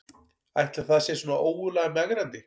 Ætli það sé svona ógurlega megrandi